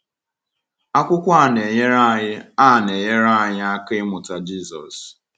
Akwụkwọ a na-enyere anyị a na-enyere anyị aka ịmụta Jisọs.